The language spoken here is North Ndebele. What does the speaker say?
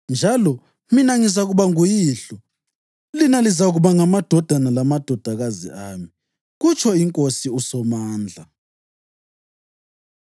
Njalo, “mina, ngizakuba nguYihlo, lina lizakuba ngamadodana lamadodakazi ami, kutsho iNkosi uSomandla.” + 6.18 2 USamuyeli 7.14; 7.8